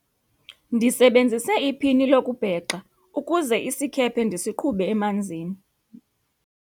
ndisebenzise iphini lokubhexa ukuze isikhephe ndisiqhube emanzini